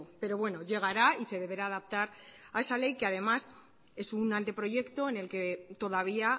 pero bueno llegará y se deberá adaptar a esa ley que además es un anteproyecto en el que todavía